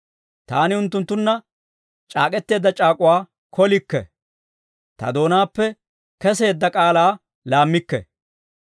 Taani unttunttunna c'aak'k'eteedda c'aak'uwaa kolikke; ta doonaappe keseedda k'aalaa laammikke.